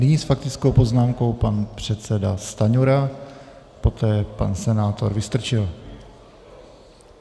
Nyní s faktickou poznámkou pan předseda Stanjura, poté pan senátor Vystrčil.